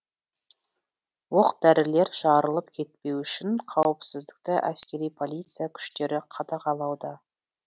оқ дәрілер жарылып кетпеуі үшін қауіпсіздікті әскери полиция күштері қадағалауда